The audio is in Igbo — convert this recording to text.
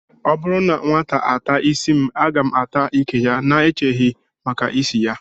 Ọ bụrụ na nwata ata ísí m, a ga m ata ìkè ya n'echeghị maka ịsị ya